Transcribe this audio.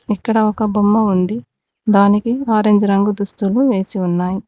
ఇక్కడ ఒక బొమ్మ ఉంది దానికి ఆరెంజ్ రంగు దుస్తులు వేసి ఉన్నాయ్.